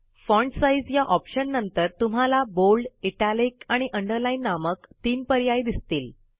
font size या ऑप्शननंतर तुम्हाला बोल्ड इटालिक आणि अंडरलाईन नामक तीन पर्याय दिसतील